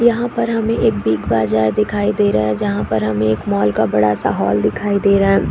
यहाँ पर हमें एक बिग बाजार दिखाई दे रहा है जहाँ पर हमें एक मॉल का बड़ा सा हॉल दिखाई दे रहा है।